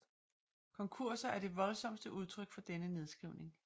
Konkurser er det voldsomste udtryk for denne nedskrivning